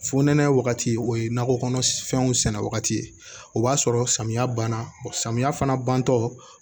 Futɛnɛ wagati o ye nakɔ kɔnɔfɛnw sɛnɛ wagati ye o b'a sɔrɔ samiya banna samiya fana bantɔ